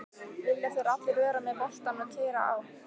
Vilja þeir allir vera með boltann og keyra á?